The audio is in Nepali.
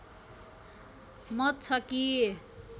मत छ कि